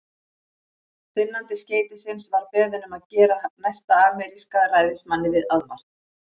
Finnandi skeytisins var beðinn um að gera næsta ameríska ræðismanni aðvart.